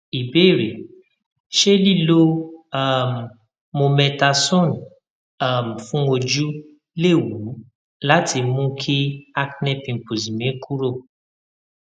ìbéèrè ṣé liló um mometasone um fun ojú léwu láti mú kí acne pimples mi kúrò